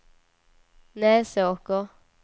Näsåker